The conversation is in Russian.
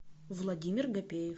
владимир гапеев